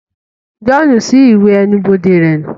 John ṣi iwè ẹnu-bode rẹ nu